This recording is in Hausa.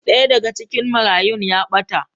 Daya daga cikin marayun ya bata